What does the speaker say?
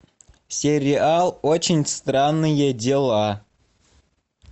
сериал очень странные дела